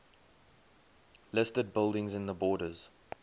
listed buildings in the borders